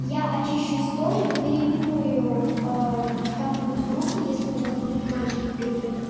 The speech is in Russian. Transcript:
я очищу историю переименую как-нибудь группу если у нас будут мальчики в группе